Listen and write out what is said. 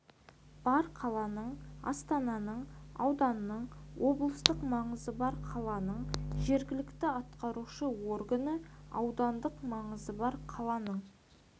бар қаланың астананың ауданның облыстық маңызы бар қаланың жергілікті атқарушы органы аудандық маңызы бар қаланың